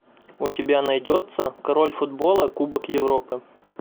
у тебя найдется король футбола кубок европы